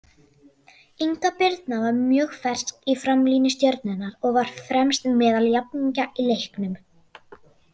Inga Birna var mjög fersk í framlínu Stjörnunnar og var fremst meðal jafningja í leiknum.